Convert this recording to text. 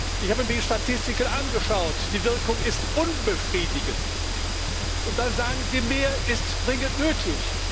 Ich habe mir die Statistiken angeschaut Die Wirkung ist unbefriedigend. Und dann sagen Sie Mehr ist dringend nötig.